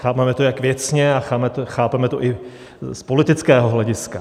Chápeme to jak věcně a chápeme to i z politického hlediska.